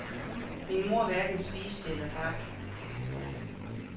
Min mor hverken spiste eller drak.